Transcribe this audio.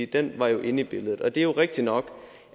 den var jo inde i billedet det er rigtigt nok